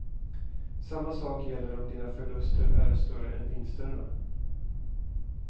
Samma sak gäller om dina förluster är större än vinsterna.